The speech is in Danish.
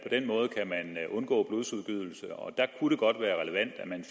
den måde kan man undgå blodsudgydelse og der kunne det godt være relevant at man